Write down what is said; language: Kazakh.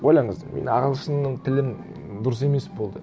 ойлаңыз мен ағылшынның тілін дұрыс емес болды